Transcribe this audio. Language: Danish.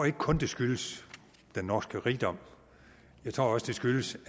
ikke kun det skyldes den norske rigdom jeg tror også det skyldes